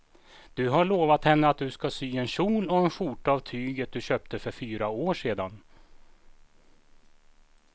Du har lovat henne att du ska sy en kjol och skjorta av tyget du köpte för fyra år sedan.